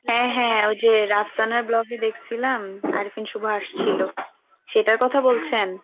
হ্যাঁ হ্যাঁ ওই যে রাজসনা vlog এ দেখছিলাম আরেকদিন শুভ আসছিলো সেটার কথা বলছেন?